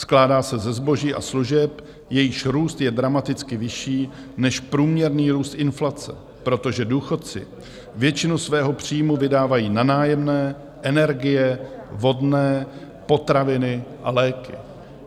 Skládá se ze zboží a služeb, jejichž růst je dramaticky vyšší než průměrný růst inflace, protože důchodci většinu svého příjmu vydávají na nájemné, energie, vodné, potraviny a léky.